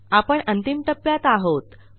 आपण अंतिम टप्प्यात आहोत